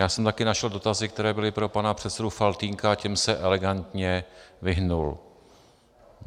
Já jsem také našel dotazy, které byly pro pana předsedu Faltýnka, a těm se elegantně vyhnul.